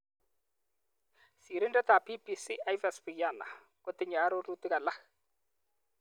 Sirindetab BBC Yves Bucyana kotinyei arorutik alak.